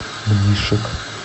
мнишек